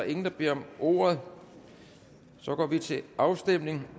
ingen der beder om ordet så går vi til afstemning